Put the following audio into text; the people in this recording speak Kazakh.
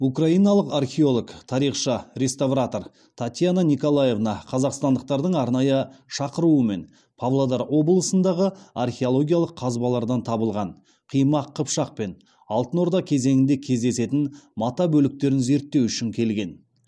украиналық археолог тарихшы реставратор татьяна николаевна қазақстандықтардың арнайы шақыруымен павлодар облысындағы археологиялық қазбалардан табылған қимақ қыпшақ пен алтын орда кезеңінде кездесетін мата бөліктерін зерттеу үшін келген